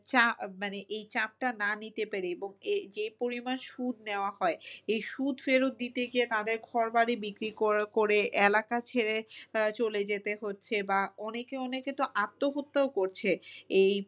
চা মানে এই চাপটা না নিতে পেরে এবং যে পরিমান সুদ নেওয়া হয় এই সুদ ফেরত দিতে গিয়ে তাদের ঘর বাড়ি বিক্রি করে এলাকা ছেড়ে আহ চলে যেতে হচ্ছে বা অনেকে অনেকে তো আত্মহত্যা করছে এই